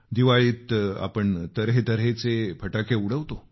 दिवाळीत आपण तऱ्हेतऱ्हेचे फटाके उडवतो